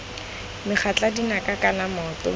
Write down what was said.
megatla dinaka kana maoto mme